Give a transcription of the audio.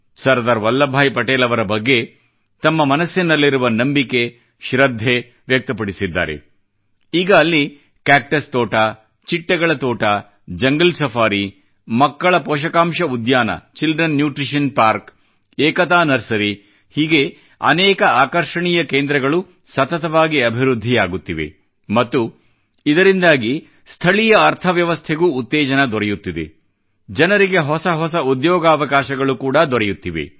Sardar Vallabhbhai Patel ಅವರ ಬಗ್ಗೆ ತಮ್ಮ ಮನಸ್ಸಿನಲ್ಲಿರುವ ನಂಬಿಕೆ ಶ್ರದ್ಧೆ ವ್ಯಕ್ತಪಡಿಸಿದ್ದಾರೆ ಈಗ ಅಲ್ಲಿ ಕ್ಯಾಕ್ಟಸ್ ತೋಟ ಚಿಟ್ಟೆಗಳ ತೋಟ ಜಂಗಲ್ ಸಫಾರಿ ಮಕ್ಕಳ ಪೋಷಕಾಂಶ ಉದ್ಯಾನ children nutrition park Ekta nursery ಹೀಗೆ ಅನೇಕ ಆಕರ್ಷಣೀಯ ಕೇಂದ್ರಗಳು ಸತತವಾಗಿ ಅಭಿವೃದ್ಧಿಯಾಗುತ್ತಿವೆ ಮತ್ತು ಇದರಿಂದಾಗಿ ಸ್ಥಳೀಯ ಅರ್ಥ ವ್ಯವಸ್ಥೆಗೂ ಉತ್ತೇಜನ ದೊರೆಯುತ್ತಿದೆ ಮತ್ತು ಜನರಿಗೆ ಹೊಸ ಹೊಸ ಉದ್ಯೋಗಾವಕಾಶಗಳು ಕೂಡಾ ದೊರೆಯುತ್ತಿವೆ